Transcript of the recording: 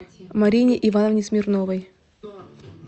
марине ивановне смирновой